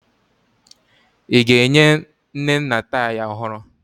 Ị ga-enye Nnenna taya ọhụrụ?